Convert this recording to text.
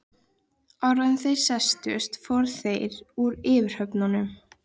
Áður en þeir settust fóru þeir úr yfirhöfnunum.